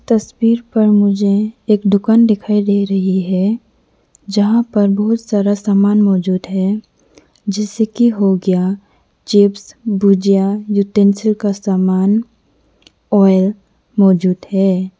तस्वीर पर मुझे एक दुकान दिखाई दे रही है यहां पर बहुत सारा सामान मौजूद है जैसे कि हो गया चिप्स भुजिया यूटेंसिल्स का सामान ऑइल मौजूद है।